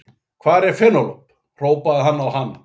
Hvar er Penélope, hrópaði hann á hana.